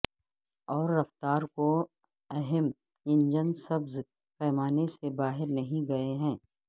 اور رفتار کو اہم انجن سبز پیمانے سے باہر نہیں گئے ہیں